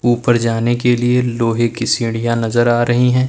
ऊपर जाने के लिए लोहे की सीढ़ियां नजर आ रही है।